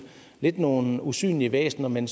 lidt nogle usynlige væsener men